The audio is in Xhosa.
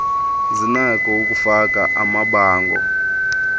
zinakho ukufaka amabango